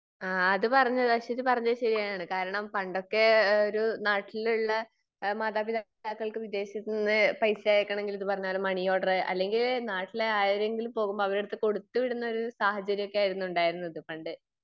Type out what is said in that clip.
ആ അത് പറഞ്ഞത് അശ്വതി പറഞ്ഞത് ശെരിയാണ്. കാരണം പണ്ടൊക്കെ ഒരു നാട്ടിലുള്ള മാതാപിതാക്കൾക്ക് വിദേശത്തുനിന്ന് പൈസ അയക്കണമെങ്കിൽ ഇത് പറഞ്ഞാലും മണി ഓർഡർ അല്ലെങ്കി നാട്ടിലെ ആരെങ്കിലും പോകുമ്പോൾ അവരുടെ അടുത്ത് കൊടുത്തു വിടുന്ന ഒരു സാഹചര്യം ഒക്കെ ആയിരുന്നു ഉണ്ടായിരുന്നത് പണ്ട്.